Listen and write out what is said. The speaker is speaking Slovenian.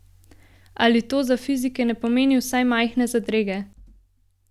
Ali to za fizike ne pomeni vsaj majhne zadrege?